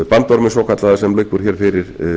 bandorminn svokallaða sem liggur hér fyrir